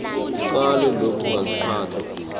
icala lokungaziphathi kuhle